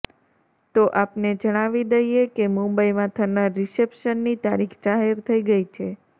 તો આપને જણાવી દઈએ કે મુંબઈમાં થનાર રીસેપ્શનની તારીખ જાહેર થઈ ગઈ છે